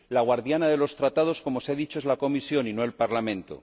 La guardiana de los Tratados, como se ha dicho, es la Comisión, y no el Parlamento.